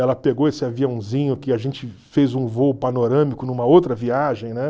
Ela pegou esse aviãozinho que a gente fez um voo panorâmico numa outra viagem, né?